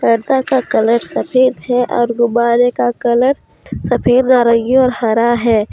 गद्दा सा कलर सफेद है और गुब्बारे का कलर सफेद नारंगी और हरा है।